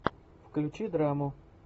включи драму